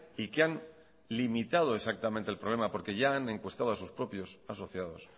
y que han limitada exactamente el problema porque ya han encuestado a sus propios asociados